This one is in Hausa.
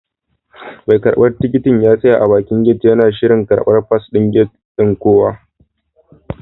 Mai karbar tikitin ya tsaya a bakin gate yana shirin karban fasin gate ɗin kowa.